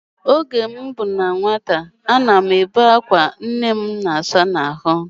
Oge m dị na nwata, a na m ebe akwa oge ọbụla nne m na-asa m ahụ